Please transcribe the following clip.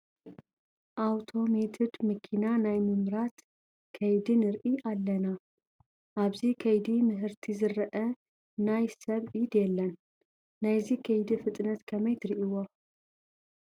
ኣውቶሜትድ መኪና ናይ ምምራት ከይዲ ንርኢ ኣለና፡፡ ኣብዚ ከይዲ ምህርቲ ዝርአ ናይ ሰብ ኢድ የለን፡፡ ናይዚ ከይዲ ፍጥነት ከመይ ትሪእይዎ?